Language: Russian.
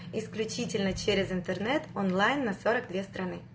исключительно через интернет онлайн на сорок две страны